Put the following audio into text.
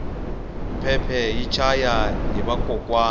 phemphe hi chaya hi vakokwani